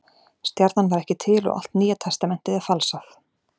Stjarnan var ekki til og allt Nýja testamentið er falsað.